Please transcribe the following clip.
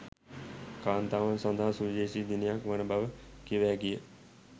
කාන්තාවන් සඳහා සුවිශේෂී දිනයක් වන බව කිව හැකි ය